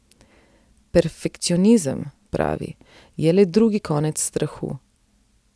Perfekcionizem, pravi, je le drugi konec strahu.